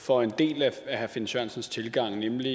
for en del af herre finn sørensens tilgang nemlig